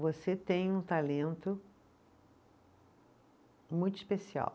Você tem um talento muito especial.